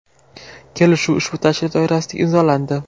Kelishuv ushbu tashrif doirasida imzolandi.